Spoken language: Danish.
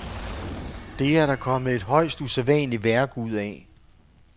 Det er der kommet et højst usædvanligt værk ud af.